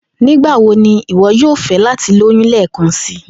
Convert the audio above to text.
Nigbawo ni iwọ yoo fẹ lati loyun lẹẹkansi?